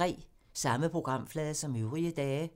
Samme programflade som øvrige dage